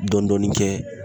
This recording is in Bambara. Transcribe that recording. Dɔɔnin dɔɔni kɛ